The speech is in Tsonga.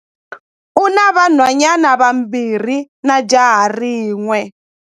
U na vanhwanyana vambirhi na jaha rin'we.